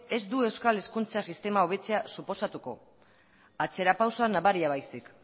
ez du euskal hezkuntza sistema hobetzea suposatuko atzera pausua nabaria baizik